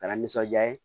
K'ala nisɔndiya ye